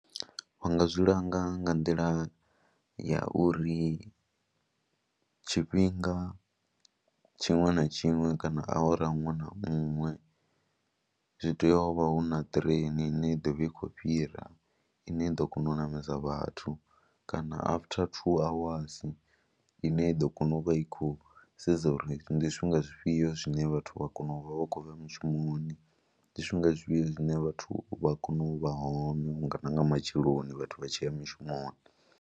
Vha nga zwi langa nga nḓila ya uri tshifhinga tshiṅwe na tshiṅwe kana awara iṅwe na iṅwe zwi tea u vha hu na ṱireni ine i ḓo vha i khou fhira ine i ḓo kona u ṋamedza vhathu kana after two hours ine i ḓo kona u vha i khou sedza uri ndi zwifhinga zwifhio zwine vhathu vha kone u vha vha khou bva mushumoni, ndi zwifhinga zwifhio zwine vhathu vha kone u vha hone na nga matsheloni vhathu vha tshi ya mushumoni.